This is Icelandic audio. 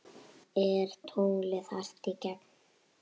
Er tunglið hart í gegn?